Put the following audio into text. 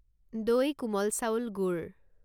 দৈ কোমল চাউল গুড়